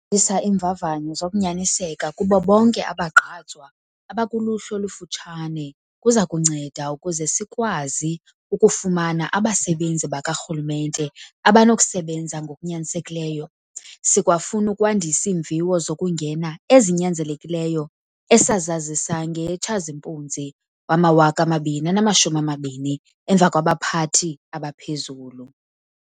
isa iimvavanyo zokunyaniseka kubo bonke abagqatswa abakuluhlu olufutshane kuza kunceda ukuze sikwazi ukufumana abasebenzi bakarhulumente abanokusebenza ngokunyanisekileyo. Sikwafuna ukwandisa iimviwo zokungena ezinyanzelekileyo esazazisa ngeyeTshazimpunzi wama-2020 emva kwabaphathi abaphezulu.